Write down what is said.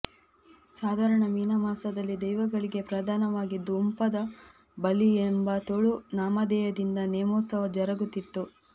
ಸಾಧಾರಣ ಮೀನ ಮಾಸದಲ್ಲಿ ದೈವಗಳಿಗೆ ಪ್ರಧಾನವಾಗಿ ದೊಂಪದ ಬಲಿ ಎಂಬ ತುಳು ನಾಮಧೇಯದಿಂದ ನೇಮೋತ್ಸವ ಜರಗುತ್ತಿತ್ತು